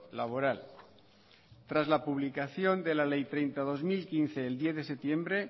laboral tras la publicación de la ley treinta barra dos mil quince el diez de septiembre